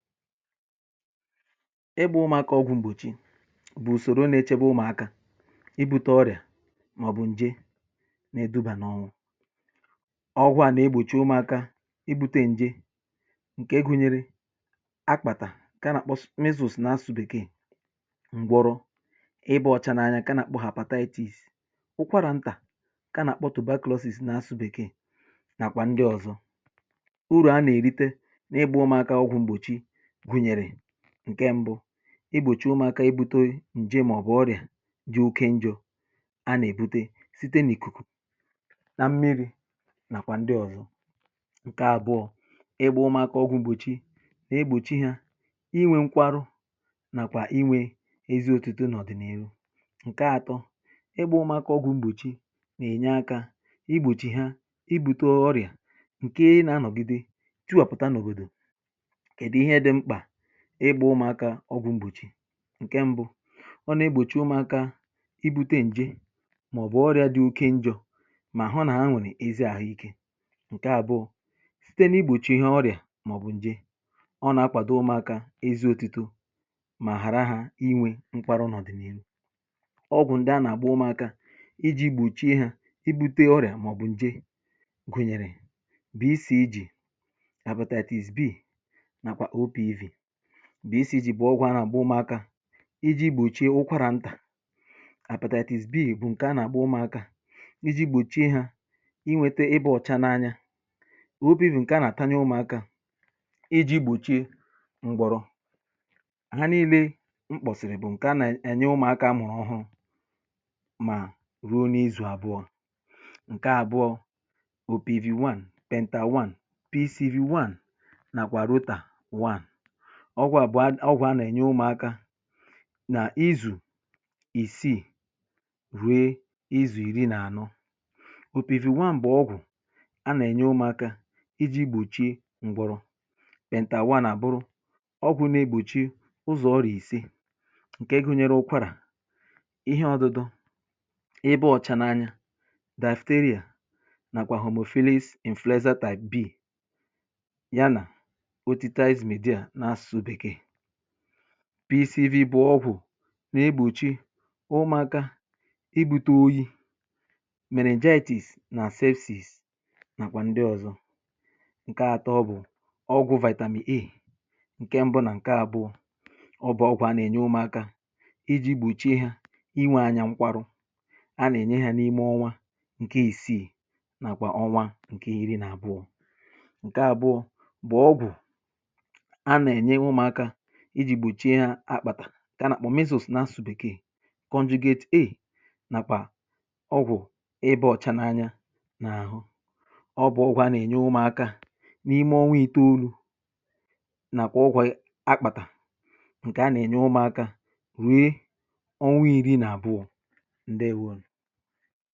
Ịgbȧ ụmụ̀akȧ ọgwụ̀ m̀bọ̀chị bụ̀ ùsòro nechebe ụmụ̀akȧ ibu̇te ọrịà màọ̀bụ̀ ǹje nà edubà n’ọnwụ̀. Ọgwụ̀ a nà egbòchi ụmụ̀akȧ ibu̇te ǹje ǹkè gụ̀nyere akpàtà ǹke a nà measles nà asụsụ̇ bekee, ngwọrọ, ịbȧ ọ̀cha n’anya ǹke a nà àkpọ hepatitis, ụkwarà ntà nkà a nà àkpọ tuberculosis nà asụsụ̇ bèkee, nàkwà ndị ọ̀zọ. Urù a nà-èrite n’ịgbȧ ụmụ̀akȧ ọgwụ̀ m̀bọ̀chị gụnyere ǹke ṁbụ̇, igbòchi ụmụ̀akȧ, ibute ǹje màọ̀bụ̀ ọrị̀à dị oke njọ̇ a nà-èbute site n’ìkùkù na mmiri̇ nàkwà ndị ọ̀zọ. Nke àbụọ̇ ịgba ụmụ̀akȧ ọgwụ̇ mgbòchi nà-egbòchi hȧ inwė nkwarụ nàkwà inwė ezi òtùtù n’ọ̀dị̀nàihu. Nke atọ, ịgba ụmụ̀akȧ ọgwụ̇ mgbòchi nà-ènye akȧ igbòchi ha ibùtè ọrị̀à ǹke nȧ anọ̀gide tiwàpụ̀tà n’òbòdò. Kedị ihe dị mkpa ịgbȧ ụmụ̀akȧ ọgwụ̇ m̀gbòchi, ǹkè mbụ̇, ọ nà-egbòchi ụmụ̀akȧ ibu̇tė ǹje màọ̀bụ̀ ọrịa dị oke njọ̇ mà hụ na ha nwere ezi àhụikė. Nke àbụọ̇, site n’igbòchi ha ọrịà màọ̀bụ̀ ǹje, ọ nà-akwàdo ụmụ̀akȧ ezi òtuto mà hàra hȧ inwė nkwarụ n’ọ̀dị̀ni̇hu. Ọgwụ̀ ǹdị a nà-àgba ụmụ̀akȧ iji̇ gbòchie ha ibu̇tė ọrịà màọ̀bụ̀ ǹje gụ̀nyèrè: B C G, hepatitis B, nakwa O P V. B C G bụ ọgwụ̇ anaagba ụmụakȧ iji̇ gbòchie ụkwarà ntà, hepatitis B bụ̀ ǹkè a nà-àgba ụmụ̀akȧ iji̇ gbòchie hȧ inwėte ịbȧ ọ̀cha n’anya, O P V bụ̀ ǹkè a nà-àtanye ụmụ̀akȧ iji̇ gbòchie ngwọ̀rọ̀. Ha niilė mkpọ̀sị̀rị̀ bụ̀ ǹkè a nà-ènye ụmụ̀akȧ a mụrụ ọhụ̀rụ mà ruo n’izù àbụọ̇. Nkè àbụọ̇, opivi 1, pentewan, pcr1, nakwà rụtàwan. Ọgwụ̀̀ à bụ̀ a ọgwụ̀ a nà-ènye ụmụ̀aka nà izù ìsiì rue izù iri nà-ànơ. Opìviwan bù ọgwụ̀ a nà-ènye ụmụ̀aka iji̇ gbòchi ngwọrọ, pèntàwan àbụrụ ọgwụ̀ na-egbòchi ụzọ̀ ọrịa ìsiì ǹkè gụnyere: ụkwarà, ihe ọdụdọ, ịba ọ̀cha n’anya, dasteria nàkwà homophilis influenza type B ya nà otitizemidia nasụsụ bekee. Pisivi bụ̀ ọgwụ̀ n’egbòchi ụmụ̀akȧ ibùtoyi̇, meningitis nà sepsìs nàkwà ndị ọ̀zọ. Nke atọ, bụ̀ ọgwụ̇ vitamin A ǹke mbụ̇ nà ǹke àbụọ, ọ bụ̀ ọgwụ̇ a nà-ènye ụmụ̀akȧ iji̇ gbòchie hȧ inwė anyȧ nkwarụ. A nà-ènye hȧ n’ime ọnwa ǹke ìsiì nàkwà ọnwa ǹke iri̇ nà àbụọ. Nke àbụọ, bụ̀ ọgwụ̀ a na-enye ụmụaka iji̇ gbochie ha akpàtà, kà a nà-àkpọ measles nasụsụ̀ bèkee, kọnjugate A, nàkwà ọgwụ̀ ịba ọ̀cha n’anya nà àhụ. Ọ bụ̀ ọgwụ̀ a nà-ènye ụmụ̀akȧ n’ime ọnwa itȯolu̇ nà kwa ọgwụ ị akpàtà, ǹkè a nà-ènye ụmụ̀akȧ rue ọnwa i̇ri̇ nà-àbụọ, ǹdewȯnù.